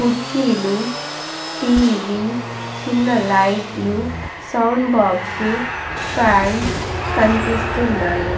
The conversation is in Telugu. కుర్చీలు టీవీ చిన్న లైట్లు సౌండ్ బోక్సు ఫాన్స్ కనిపిస్తున్నాయి.